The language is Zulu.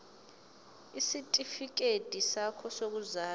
isitifikedi sakho sokuzalwa